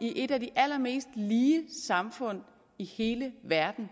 i et af de allermest lige samfund i hele verden